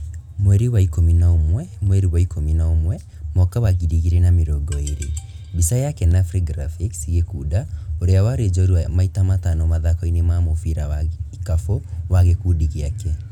Mweri wa ikũmi na ũmwe mweri wa ikũmi na ũmwe mwaka wa ngiri igĩrĩ na mĩrongo ĩĩrĩ, mbica ya Kenafri graphics ,Gikunda, ũrĩa warĩ njorua maita matano mathako-inĩ ma mũbira wa ikafu wa gũkundi gĩake